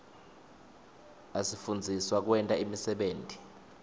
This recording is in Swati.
asifundzisa kwenta imisebenti